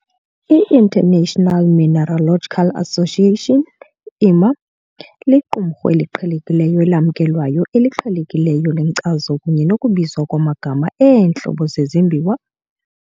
I-International Mineralogical Association IMA liqumrhu eliqhelekileyo elamkelwayo eliqhelekileyo lenkcazo kunye nokubizwa kwamagama eentlobo zezimbiwa.